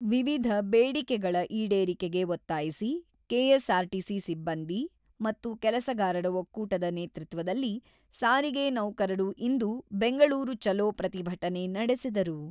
ವಿವಿಧ ಬೇಡಿಕೆಗಳ ಈಡೇರಿಕೆಗೆ ಒತ್ತಾಯಿಸಿ ಕೆಎಸ್‌ಆರ್‌ಟಿಸಿ ಸಿಬ್ಬಂದಿ ಮತ್ತು ಕೆಲಸಗಾರರ ಒಕ್ಕೂಟದ ನೇತೃತ್ವದಲ್ಲಿ ಸಾರಿಗೆ ನೌಕರರು ಇಂದು 'ಬೆಂಗಳೂರು ಚಲೋ ಪ್ರತಿಭಟನೆ ನಡೆಸಿದರು.